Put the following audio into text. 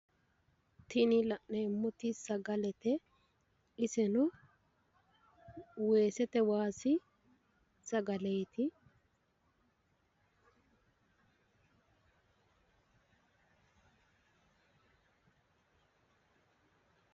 Tini la'neemmoti sagalete. Iseno weesete waasi sagaleeti.